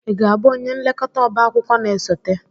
ị ga-abụ onye nlekọta ọba akwụkwọ na-esote?